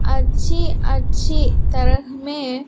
अच्छी अच्छी तरह में--